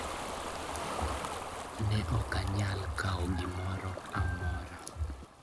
Ne ok anyal kawo gimoro amora.